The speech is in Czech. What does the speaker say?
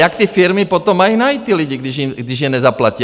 Jak ty firmy potom mají najít ty lidi, když je nezaplatí?